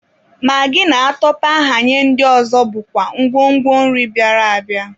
Magị na atọpee ahanye ndị ọzọ bụkwa ngwo ngwo nri bịara abịa.